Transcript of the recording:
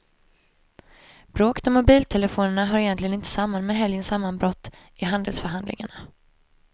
Bråket om mobiltelefonerna hör egentligen inte samman med helgens sammanbrott i handelsförhandlingarna.